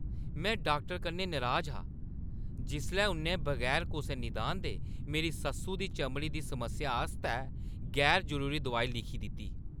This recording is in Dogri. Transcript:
में डाक्टरै कन्नै नराज हा जिसलै उʼन्नै बगैर कुसै निदान दे मेरी सस्सु दी चमड़ी दी समस्या आस्तै गैर जरूरी दोआई लिखी दित्ती।